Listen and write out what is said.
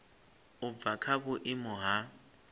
u bva kha vhuimo ha